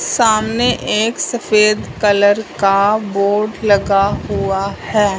सामने एक सफेद कलर का बोर्ड लगा हुआ है।